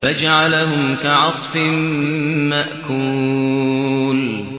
فَجَعَلَهُمْ كَعَصْفٍ مَّأْكُولٍ